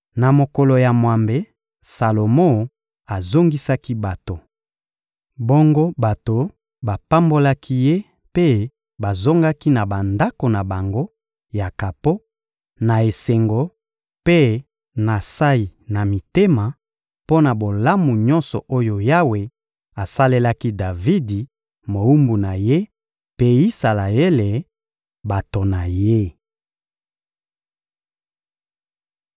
Na mokolo ya mwambe, Salomo azongisaki bato. Bongo bato bapambolaki ye mpe bazongaki na bandako na bango ya kapo na esengo mpe na nsayi na mitema mpo na bolamu nyonso oyo Yawe asalelaki Davidi, mowumbu na Ye, mpe Isalaele, bato na Ye.